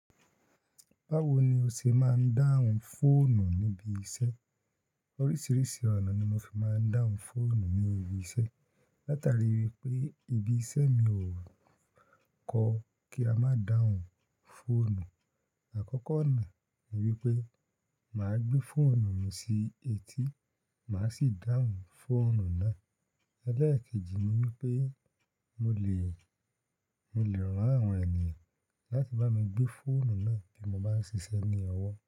Báwo ni o ṣe máa ń dáhùn fóònù níbi iṣẹ́? Oríṣiríṣi ọ̀nà ni mo fi máa ń dáhùn fóònù ní ibi iṣẹ́. Látàrí wípé ibi iṣẹ́ mi ò kọ́ kí a má dáhùn fóònù. Àkọ́kọ́ ọ̀nà ni wípé mà á gbé fóònù mi sí etí, mà á sì dáhùn fóònù náà. Ẹ̀lẹ́ẹ̀ keji ni wípé mo lè, mo lè ran àwọn ènìyàn láti bá mi gbé fóònù náà bí mo bá ń ṣiṣẹ́ ní ọwọ́